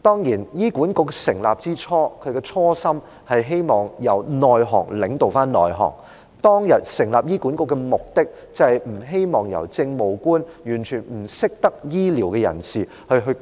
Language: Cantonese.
當然醫管局成立的初心，是希望由行業內的人領導行業內的人，當日成立醫管局的目的，是不希望由政務官這些完全不懂得醫療的人士